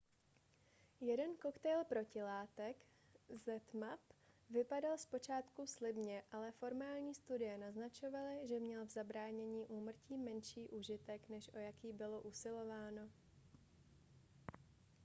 jeden koktejl protilátek zmapp vypadal zpočátku slibně ale formální studie naznačovaly že měl v zabránění úmrtí menší užitek než o jaký bylo usilováno